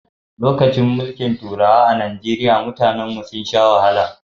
Lokacin mulkin turawa a Najeriya mutanen mu sun sha wahala